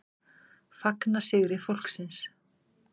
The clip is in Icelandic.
Fagna sigri fólksins